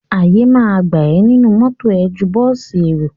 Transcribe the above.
Àyè ma gbà ẹ nínú mọ́tọ̀ ẹ ju bọ́ọ̀sì èrò.